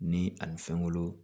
Ni a ni fɛn wolo